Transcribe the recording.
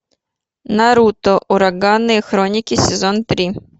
наруто ураганные хроники сезон три